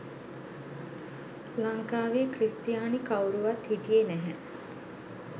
ලංකාවේ ක්‍රිස්තියානි කවුරුවත් හිටියේ නැහැ.